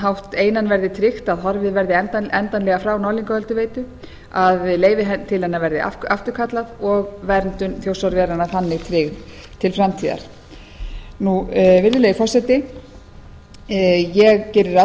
hátt einan verði tryggt að horfið verði endanlega frá norðlingaölduveitu að leyfi til hennar verði afturkallað og verndun þjórsárveranna þannig tryggð til framtíðar virðulegi forseti ég geri ráð